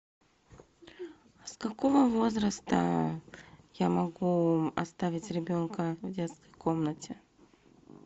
с какого возраста я могу оставить ребенка в детской комнате